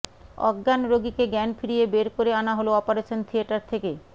অজ্ঞান রোগীকে জ্ঞান ফিরিয়ে বের করে আনা হল অপারেশন থিয়েটার থেকে